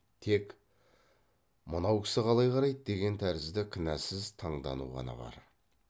тек мынау кісі қалай қарайды деген тәрізді кінәсіз таңдану ғана бар